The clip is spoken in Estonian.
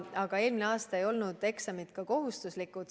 Aga eelmine aasta ei olnud eksamid kohustuslikud.